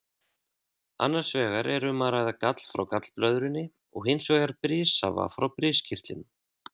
Annars vegar er um að ræða gall frá gallblöðrunni og hins vegar brissafa frá briskirtlinum.